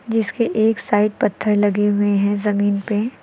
जिसके एक साइड पत्थर लगे हुए हैं जमीन पे।